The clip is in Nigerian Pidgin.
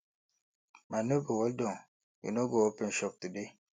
my nebor well Accepted you no go open shop today